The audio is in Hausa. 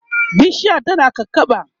bishiyar tana kakaɓa